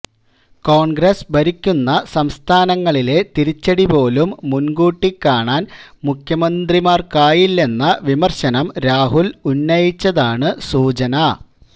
കോണ്ഗ്രസ് ഭരിക്കുന്ന സംസ്ഥാനങ്ങളിലെ തിരിച്ചടി പോലും മുന്കൂട്ടി കാണാൻ മുഖ്യമന്ത്രിമാര്ക്കായില്ലെന്ന വിമര്ശനം രാഹുല് ഉന്നയിച്ചതായാണ് സൂചന